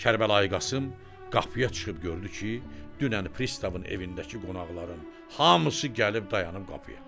Kərbəlayı Qasım qapıya çıxıb gördü ki, dünən Pristavın evindəki qonaqların hamısı gəlib dayanıb qapıya.